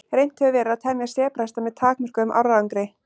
Reynt hefur verið að temja sebrahesta með takmörkuðum árangri.